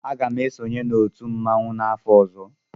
M ga-esonye na otu mmanwụ n'afọ ọzọ.